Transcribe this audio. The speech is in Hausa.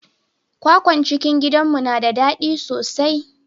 kwakwan cikin gidanmu na da dadi sosai.